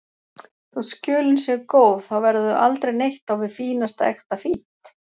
Þótt Skjólin séu góð, þá verða þau aldrei neitt á við fínasta ekta fínt.